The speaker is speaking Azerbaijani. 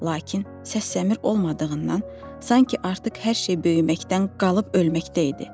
Lakin səs-səmir olmadığından, sanki artıq hər şey böyüməkdən qalıb ölməkdə idi.